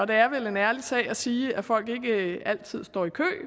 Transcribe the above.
det er vel en ærlig sag at sige at folk ikke altid står i kø